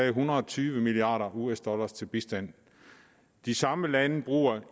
en hundrede og tyve milliard us dollar til bistand de samme lande bruger